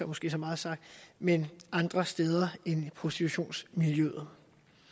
måske så meget sagt men andre steder end prostitutionsmiljøet